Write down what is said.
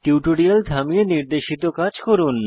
tutorial থামিয়ে নির্দেশিত কাজ করুন